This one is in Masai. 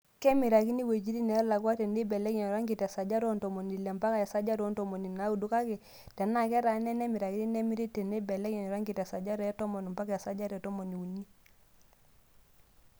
Kemirakini iwuejitin neelakua teneibelekeny oranki te sajata oo ntomoni Ile mpaka esajata oo ntomoni naaudo kake tenaa ketaana enemirakini nemiri teneibelekeny oranki te sajata etomon mpaka esajata e tomoniuni.